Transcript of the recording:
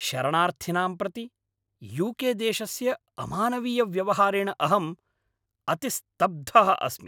शरणार्थिनां प्रति U K देशस्य अमानवीयव्यवहारेण अहम् अतिस्तब्धः अस्मि।